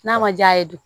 N'a ma diya ye